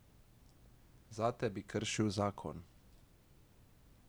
Zate bi kršil zakon.